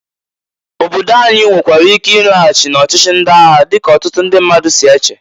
Obodo anyị nwekwara ike ịlaghachị n'ọchịchị ndị agha dịka ọtụtụ ndị mmadụ si eche.